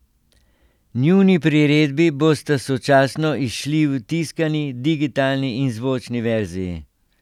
Njuni priredbi bosta sočasno izšli v tiskani, digitalni in zvočni verziji.